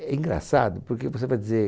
É engraçado, porque você vai dizer...